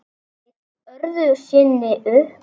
Leit öðru sinni upp.